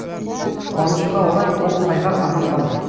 қуанышқа орай ол сайғақ аман қалды